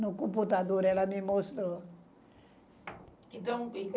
No computador ela me mostrou.